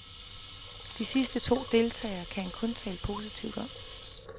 De sidste to deltagere, kan han kun tale positivt om.